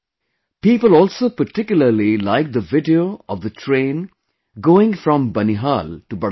People also particularly like the video of the train going from Banihal to Budgam